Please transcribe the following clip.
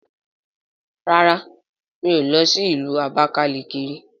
Rárá mí ò lọ sí ìlú Abakalaki ri